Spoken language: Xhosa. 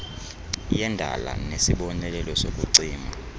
yendala nesibonelelo sokucima